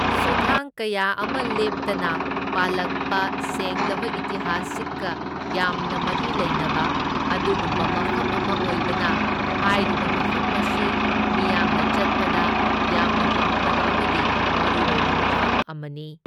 ꯁꯨꯊꯥꯡ ꯀꯌꯥ ꯑꯃ ꯂꯦꯞꯇꯅ ꯄꯥꯜꯂꯛꯄ ꯁꯦꯡꯂꯕ ꯏꯇꯤꯍꯥꯁꯤꯛꯀ ꯌꯥꯝꯅ ꯃꯔꯤ ꯂꯩꯅꯕ ꯑꯗꯨꯒꯨꯝꯕ ꯃꯐꯝ ꯑꯃ ꯑꯣꯏꯕꯅ ꯍꯥꯏꯔꯤꯕ ꯃꯐꯝ ꯑꯁꯤ ꯃꯤꯌꯥꯝꯅ ꯆꯠꯄꯗ ꯌꯥꯝꯅ ꯄꯥꯝꯅꯕ ꯑꯃꯗꯤ ꯃꯔꯨꯑꯣꯏꯕ ꯃꯐꯝ ꯑꯃꯅꯤ꯫